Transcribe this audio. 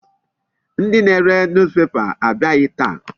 Ndị na-ere newspaper abịaghị taa.